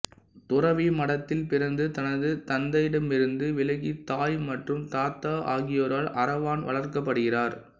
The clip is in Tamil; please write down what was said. துறவி மடத்தில் பிறந்து தனது தந்தையிடமிருந்து விலகி தாய் மற்றும் தாத்தா ஆகியோரால் அரவான் வளர்க்கப்படுகிறார்